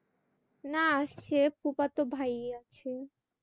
না সেই ফুফাতো ভাইয়া আছে।